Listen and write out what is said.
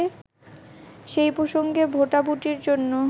সেই প্রসঙ্গে ভোটাভুটির জন্য